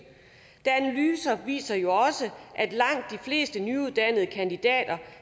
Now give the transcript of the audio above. analyser viser jo også at langt de fleste nyuddannede kandidater